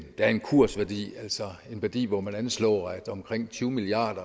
der er en kursværdi altså en værdi hvor man anslår at omkring tyve milliard